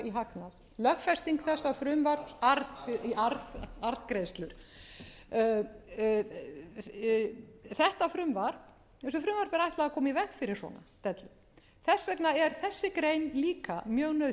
í arðgreiðslur þessu frumvarpi er ætlað að koma í veg fyrir svona dellu þess vegna er þessi grein líka mjög nauðsynleg til þess